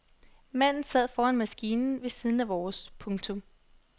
Manden sad foran maskinen ved siden af vores. punktum